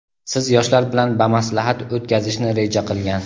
siz yoshlar bilan bamaslahat o‘tkazishni reja qilgan.